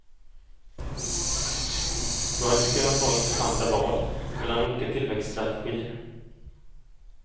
Då hade vi kunnat ha intressanta val mellan olika tillväxtstrategier.